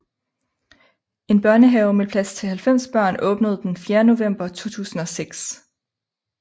En børnehave med plads til 90 børn åbnede den 4 november 2006